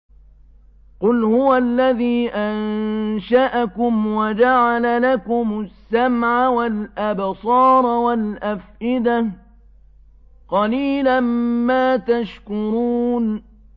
قُلْ هُوَ الَّذِي أَنشَأَكُمْ وَجَعَلَ لَكُمُ السَّمْعَ وَالْأَبْصَارَ وَالْأَفْئِدَةَ ۖ قَلِيلًا مَّا تَشْكُرُونَ